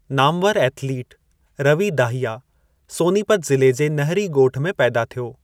नामवरु athlete, Ravi Dahiya, Sonipat ज़िले जे नहरी ॻोठ में पैदा थियो।